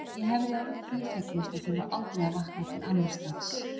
Ég hefði orðið því fegnust að þurfa aldrei að vakna til annars dags.